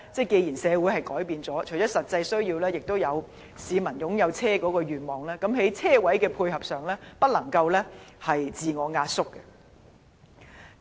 既然社會已經改變，市民除了有實際需要外，亦有擁有汽車的願望，我希望政府在車位的數目上不要刻意縮減。